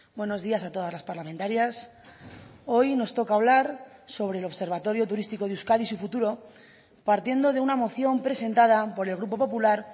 buenos días a todas las parlamentarias hoy nos toca hablar sobre el observatorio turístico de euskadi y su futuro partiendo de una moción presentada por el grupo popular